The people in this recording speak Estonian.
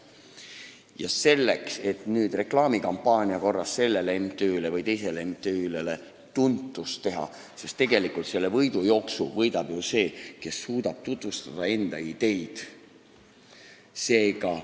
Kui nüüd rääkida reklaamikampaania korras sellele või teisele MTÜ-le tuntuse saavutamisest, siis tegelikult võidab selle võidujooksu ju see, kes suudab enda ideid tutvustada.